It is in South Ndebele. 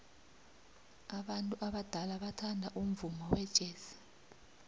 abantu abadala bathanda umvumo wejazz